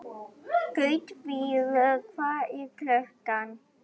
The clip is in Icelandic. Gautviður, hvað er klukkan?